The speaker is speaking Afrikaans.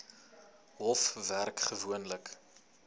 hof werk gewoonlik